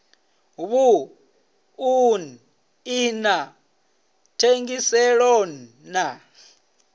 vhuṱun ḓi na thengiselonn ḓa